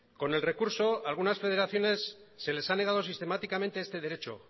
con el recurso algunas federaciones se les ha negado sistemáticamente este derecho